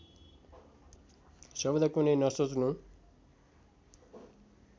शब्द कुनै नसोच्नु